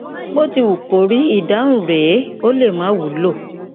bó ti wù kó rí ìdáhùn rèé ó lè má wúlò